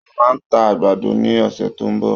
Wọ́n máa ta àgbàdo ní ọ̀sẹ̀ tó ń bọ̀.